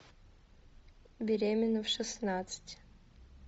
беременна в шестнадцать